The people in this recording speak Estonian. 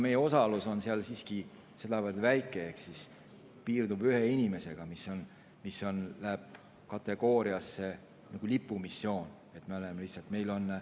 Meie osalus on seal siiski sedavõrd väike, see piirdub ühe inimesega, läheb nagu lipumissiooni kategooriasse.